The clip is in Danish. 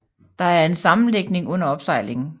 Der er en sammenlægning under opsejling